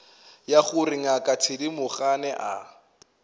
ya gore ngaka thedimogane a